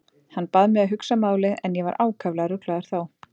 Hann bað mig að hugsa málið en ég var ákaflega ruglaður þá.